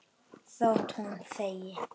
Þótt hún þegi.